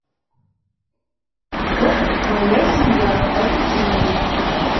сок моя семья апельсиновый